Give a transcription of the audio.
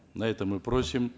на это мы просим